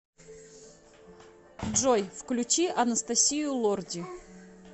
джой включи анастасию лорди